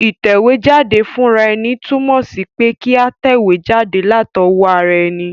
Ìtẹ̀wéjáde fúnraeni tùnmò sí pe kí a tẹ̀wé jáde látowó ara eni